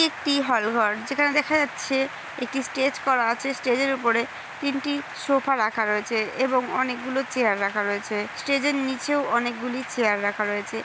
একটি হলঘর যেখানে দেখা যাচ্ছে একটি স্টেজ করা আছে স্টেজ এর ওপরে তিনটি সোফা রাখা রয়েছে ।এবং অনেক গুলো চেয়ার রাখা রয়েছে স্টেজ এর নিচেও অনেকগুলি চেয়ার রাখা রয়েছে।